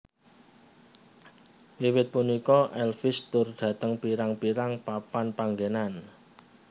Wiwit punika Elvis tur dhateng pirang pirang papan panggenan